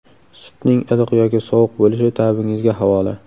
Sutning iliq yoki sovuq bo‘lishi tabingizga havola.